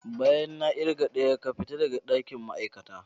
Bayan na kirga daya ka fita daga dakin ma'aikata.